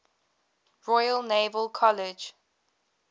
royal naval college